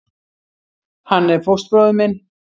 Hann er fóstbróðir minn.